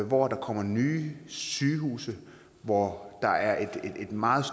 hvor der kommer nye sygehuse hvor der er et meget